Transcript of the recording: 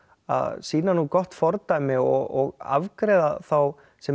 að sýna gott fordæmi og afgreiða þá sem